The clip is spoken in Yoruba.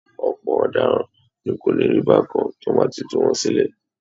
Ọ̀pọ̀ ọ̀daràn kò ní rí bákan tí wọ́n bá ti tú wọn sílẹ̀